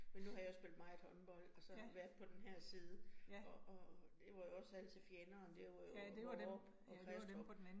Men nu har jeg jo spillet meget håndbold, og så været på denne her side, og og det var jo altid fjenderne, det var jo Vorup og Kristrup